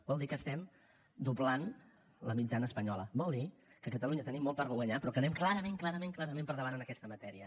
vol dir que estem doblant la mitjana espanyola vol dir que a catalunya tenim molt per guanyar però que anem clarament clarament clarament per davant en aquesta matèria